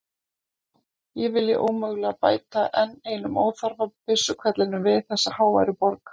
Ég vilji ómögulega bæta enn einum óþarfa byssuhvellinum við þessa háværu borg.